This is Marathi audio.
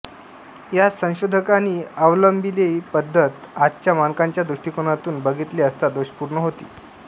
या संशोधकांनी अवलंबिलेली पद्धत आजच्या मानकांच्या दृष्टिकोनातून बघितले असता दोषपूर्ण होती